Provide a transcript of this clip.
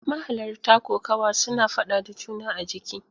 Mahalarta kokawa suna fada da juna a jiki.